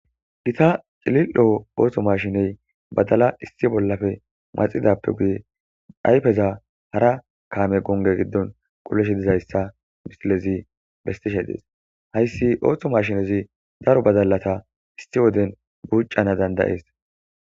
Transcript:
gita cilil7o ooththo mashiney badala issi bollafe maxidappe guye dhayfeza hara kaame gonge giddon qulesh dizayssa misilezi bestishe dees hayssi ooththo mashinezi daro badalata issi woden gucana dandayees